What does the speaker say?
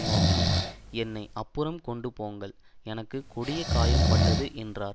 நோக்கி என்னை அப்புறம் கொண்டுபோங்கள் எனக்கு கொடிய காயம்பட்டது என்றான்